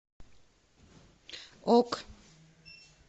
ок